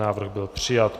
Návrh byl přijat.